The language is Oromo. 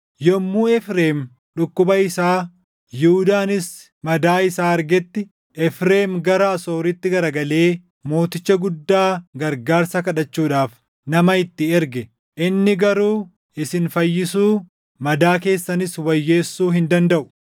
“Yommuu Efreem dhukkuba isaa, Yihuudaanis madaa isaa argetti, Efreem gara Asooritti garagalee mooticha guddaa gargaarsa kadhachuudhaaf // nama itti erge. Inni garuu isin fayyisuu, madaa keessanis wayyeessuu hin dandaʼu.